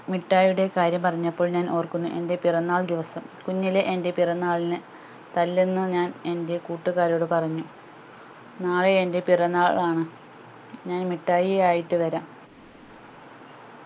മിഠായിയുടെ കാര്യം പറഞ്ഞപ്പോൾ ഞാൻ ഓർക്കുന്നു എൻ്റെ പിറന്നാൾ ദിവസം കുഞ്ഞിലേ എൻ്റെ പിറന്നാളിന് തല്ലെന്നു ഞാൻ എൻ്റെ കൂട്ടുകാരോട് പറഞ്ഞു നാളെ എൻ്റെ പിറന്നാൾ ആണ് ഞാൻ മിഠായി ആയിട്ട് വരാം